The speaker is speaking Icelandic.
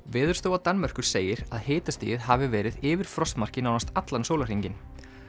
Veðurstofa Danmerkur segir að hitastigið hefði verið yfir frostmarki nánast allan sólarhringinn